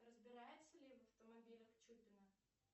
разбирается ли в автомобилях чупина